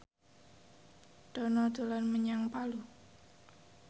Dono dolan menyang Palu